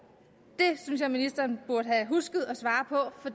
det synes jeg at ministeren burde have husket at svare på for